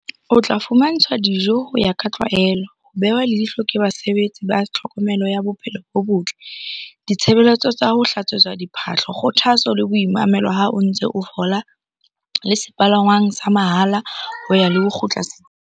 O tla fumantshwa dijo ho ya ka tlwaelo, ho behwa leihlo ke basebetsi ba tlhokomelo ya bophelo bo botle, ditshebeletso tsa ho hlatswetswa diphahlo, kgothatso le boimamelo ha o ntse o fola le sepalangwang sa mahala ho ya le ho kgutla setsing.